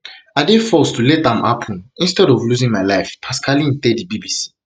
i dey forced to let am happun instead of losing my life pascaline tell di bbc